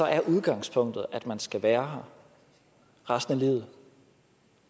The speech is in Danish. er udgangspunktet at man skal være her resten af livet